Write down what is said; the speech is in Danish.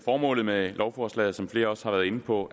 formålet med lovforslaget som flere også har været inde på